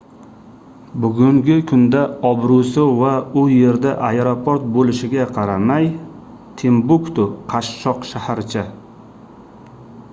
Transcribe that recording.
bugungi kunda obroʻsi va u yerda aeroport boʻlishiga qaramay timbuktu qashshoq shaharcha